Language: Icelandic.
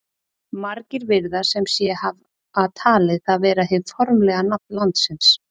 margir virðast sem sé hafa talið það vera hið formlega nafn landsins